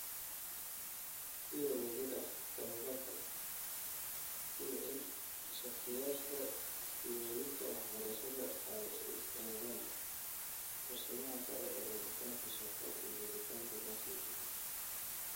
Si wada jir ah tababarka, sida in shakhsiyaadka sii wadista waxbarashada ay u istaagaan fursadaha sare ee helitaanka shaqo iyo helitaanka dakhli deggan.